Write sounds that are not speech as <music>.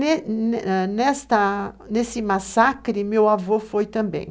<unintelligible> Nesse massacre, meu avô foi também.